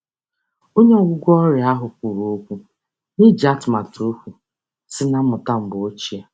Onye ọgwụgwọ ọrịa ahụ kwụrụ okwu n'iji atụmatụ okwu sị na mmụta mgbe ochie.